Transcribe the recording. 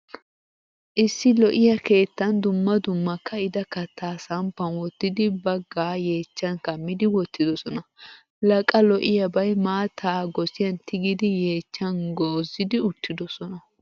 Issi lo'iyaa keettan dumma dumma ka'ida katta samppan wottidi bagga yechchan kamidi wottidosona. La qa lo'iyabay maattaa gosiyan tigidi yechchan gozzidi uttidosona.